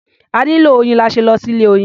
A nílò oyin la ṣe lọ sí ilé-oyin.